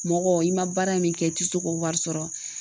Mɔgɔ i ma baara min kɛ i tɛ se k'o wari sɔrɔ